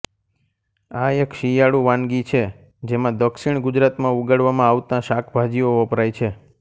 આ એક શિયાળુ વાનગી છે જેમાં દક્ષિણ ગુજરાત માં ઉગાડવામાં આવતાં શાકભાજીઓ વપરાય છે